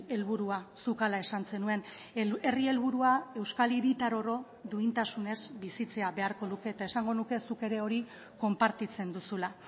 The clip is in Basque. helburua zuk hala esan zenuen herri helburua euskal hiritar oro duintasunez bizitzea beharko luke eta esango nuke zuk ere hori konpartitzen duzula